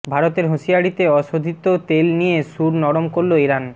ভারতের হুঁশিয়ারিতে অশোধিত তেল নিয়ে সুর নরম করল ইরান